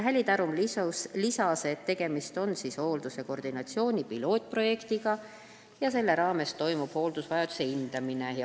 Häli Tarum lisas, et tegemist on hoolduse koordinatsiooni pilootprojektiga ja selle raames toimub hooldusvajaduse hindamine.